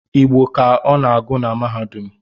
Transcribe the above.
Igbo ka ọ na-agụ na mahadum